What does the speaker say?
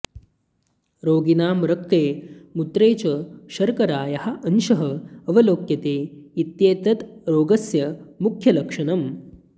रोगिणां रक्ते मूत्रे च शर्करायाः अंशः अवलोक्यते इत्येतत् रोगस्य मुख्यलक्षणम्